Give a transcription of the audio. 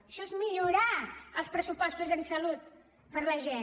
això és millorar els pressupostos en salut per a la gent